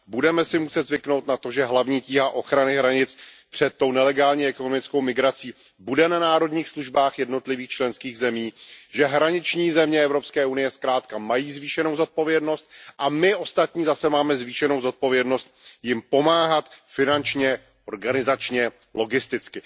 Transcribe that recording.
Budeme si muset zvyknout na to, že hlavní tíha ochrany hranic před nelegální ekonomickou migrací bude na národních službách jednotlivých členských zemí, že hraniční země Evropské unie zkrátka mají zvýšenou zodpovědnost a my ostatní zase máme zvýšenou zodpovědnost jim pomáhat finančně, organizačně, logisticky.